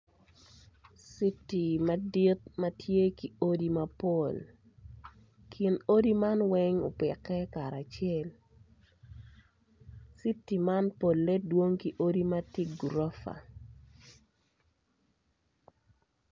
Citi madit ma tye ki odi mapol kin odi man weny opiki karacel citi man pol dwong ki odi ma ti gurofa